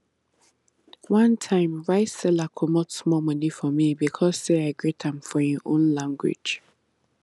one time rice seller comot small money for me because say i greet am for him own language